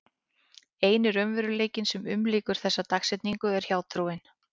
Eini raunveruleikinn sem umlykur þessa dagsetningu er hjátrúin.